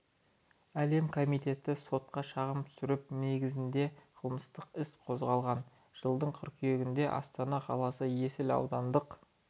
әлемі комитеті сотқа шағым түсіріп негізінде қылмыстық іс қозғалған жылдың қыркүйегінде астана қаласы есіл аудандық